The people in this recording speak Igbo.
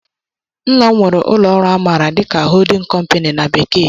Nna m nwere ụlọ ọrụ a maara dị ka "holding company" na bekee